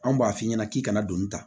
Anw b'a f'i ɲɛna k'i kana doni ta